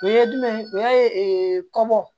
O ye jumɛn ye o ya ye kɔmɔ